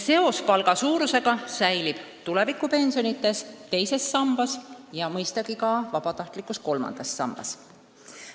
Seos palga suurusega säilib tulevikupensionides teises sambas ja mõistagi ka vabatahtlikus kolmandas sambas.